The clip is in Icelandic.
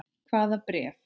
Hvaða bréf?